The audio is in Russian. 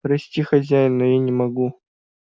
прости хозяин но я не могу